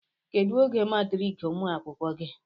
kedu oge matriki umuakwụkwọ gi